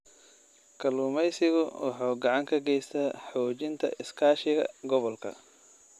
Kalluumeysigu wuxuu gacan ka geystaa xoojinta iskaashiga gobolka.